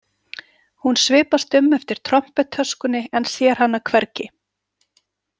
Hún svipast um eftir trompettöskunni en sér hana hvergi.